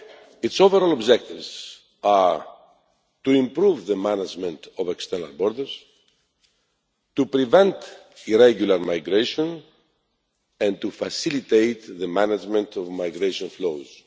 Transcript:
Its overall objectives are to improve the management of external borders, to prevent irregular migration and to facilitate the management of migration flows.